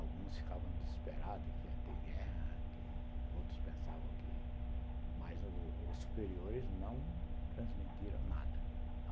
Alguns ficavam desesperados que ia ter guerra, que, outros pensavam que... Mas os superiores não transmitiram nada.